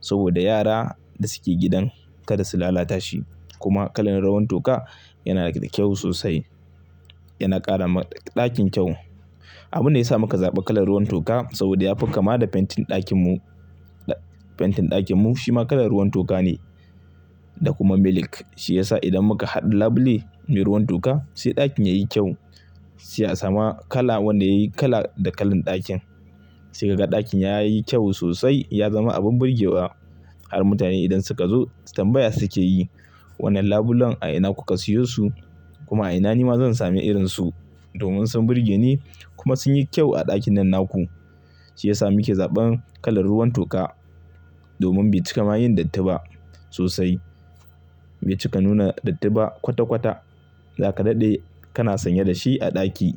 saboda yara da suke gidan kada su lalata shi kuma kalar ruwan toka yana da kyau sosai, yana ƙara ma ɗakin kyau. Abunda yasa muka zaɓa kalar ruwan toka saboda ya fi kama da fentin ɗakin mu, fentin ɗakin mu shi ma kalar ruwan toka ne da kuma milk. Shi yasa idan muka haɗe labule mai ruwan toka sai ɗakin yayi kyau, sai a samu kala wanda yayi kala da kalan ɗakin. Sai kaga ɗakin ya yi kyau sosai, ya zama abin burge wa. Har mutane idan suka zo tambaya suke yi, "Wannan labulen a ina kuka siyo su? Kuma a ina ni ma zan sami irin su domin sun burge ni kuma sun yi kyau a ɗakin nan naku?" Shi yasa muke zaɓan kalar ruwan toka domin bai cika ma yin datti ba sosai, bai cika nuna datti ba kwata kwata. Zaka daɗe kana sanye da shi a ɗaki.